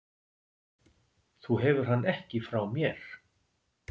Þú hefur hann ekki frá mér.